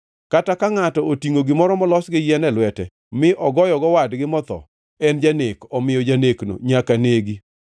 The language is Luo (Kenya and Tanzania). Kata ka ngʼato otingʼo gimoro molos gi yien e lwete, mi ogoyogo wadgi motho, en janek; omiyo janekno nyaka negi.